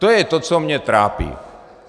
To je to, co mě trápí.